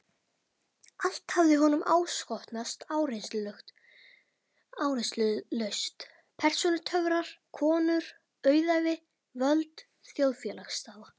Allt hafði honum áskotnast áreynslulaust: persónutöfrar, konur, auðæfi, völd, þjóðfélagsstaða.